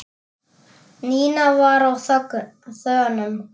Nína var á þönum.